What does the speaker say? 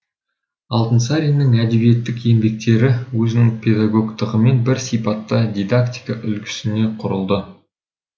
алтынсаринның әдебиеттік еңбектері өзінің педагогтығымен бір сипатта дидактика үлгісіне құрылды